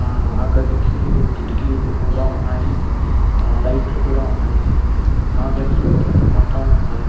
ఆ గదికి కిటికీలు కూడా ఉన్నాయి. ఆ లైట్లు కూడా ఉన్నాయి. ఆ గదిలో రెండు పట్టాలు ఉన్నాయి.